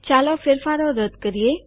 ચાલો ફેરફારો રદ કરીએ